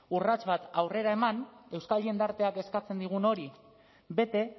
urrats bat aurrera eman euskal jendarteak eskatzen digun hori bete